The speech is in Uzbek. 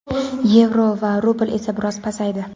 yevro va rubl esa biroz pasaydi.